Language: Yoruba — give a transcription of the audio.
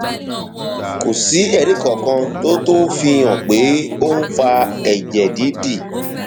kò sí ẹrí kankan tó tó fi hàn pé ó ń fa ẹjẹ dídì